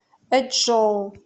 эчжоу